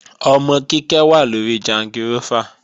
Ọmọ Kíkẹ́ wà lóri jangirófà